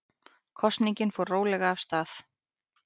Kosningin fór rólega af stað